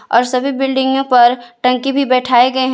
और सभी बिल्डिंगों पर टंकी भी बैठाए गये हैं।